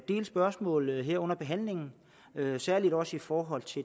del spørgsmål her under behandlingen særlig også i forhold til